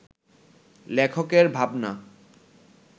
লেখকের ভাবনা